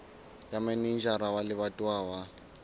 ya manejara wa lebatowa wa